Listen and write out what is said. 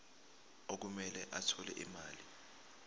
okumele athole imali